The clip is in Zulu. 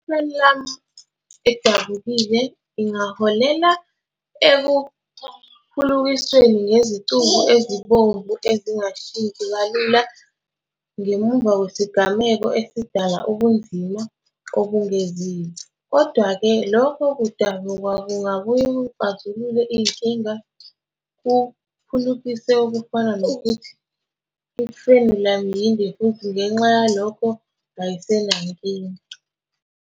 I-frenulum edabukile ingaholela ekuphulukisweni ngezicubu ezibomvu ezingashintshi kalula ngemuva kwesigameko esidala ubunzima obengeziwe. Kodwa-ke, lokhu kudabuka kungabuye kuxazulule inkinga, kuphulukise okufana nokuthi i-frenulum yinde futhi ngenxa yalokho ayisenankinga.